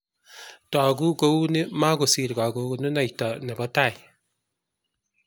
togu kuuni mokusir kakonunoito ne bo tai